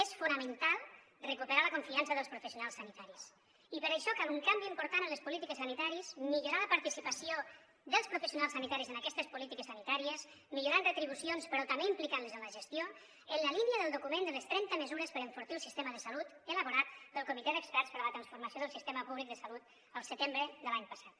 és fonamental recuperar la confiança dels professionals sanitaris i per això cal un canvi important en les polítiques sanitàries millorar la participació dels professionals sanitaris en aquestes polítiques sanitàries millorant retribucions però també implicant los en la gestió en la línia del document de les trenta mesures per enfortir el sistema de salut elaborat pel comitè d’experts per a la transformació del sistema públic de salut el setembre de l’any passat